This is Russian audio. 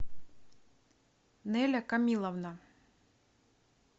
нэля камиловна